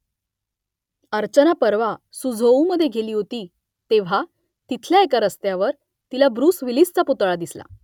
अर्चना परवा सुझोऊमध्ये गेली होती तेव्हा तिथल्या एका रस्त्यावर तिला ब्रुस विलिसचा पुतळा दिसला